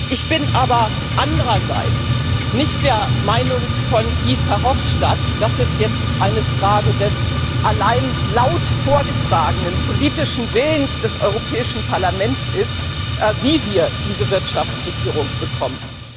Ich bin aber andererseits nicht der Meinung von Guy Verhofstadt, dass es jetzt eine Frage des allein laut vorgetragenen politischen Willens des Europäischen Parlaments ist, wie wir diese Wirtschaftsregierung bekommen.